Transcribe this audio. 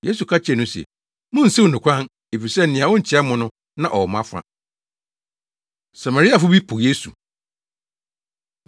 Yesu ka kyerɛɛ no se, “Munnsiw no kwan, efisɛ nea ontia mo no, na ɔwɔ mo afa.” Samariafo Bi Po Yesu